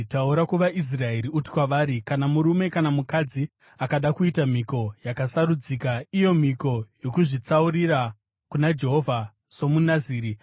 “Taura kuvaIsraeri uti kwavari: ‘Kana murume kana mukadzi akada kuita mhiko yakasarudzika, iyo mhiko yokuzvitsaurira kuna Jehovha somuNaziri,